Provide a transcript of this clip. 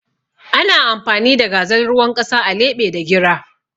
Ana amfani da gazal ruwan ƙasa a leɓe da gira